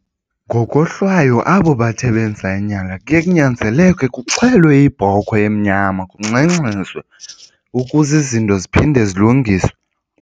Ngokohlwaya abo bathe benza inyala kuye kunyanzeleke kuxhelwe ibhokhwe emnyama kungxengxezwe ukuze izinto ziphinde zilungiswe.